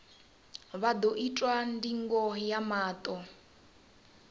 vha ḓo itwa ndingo ya maṱo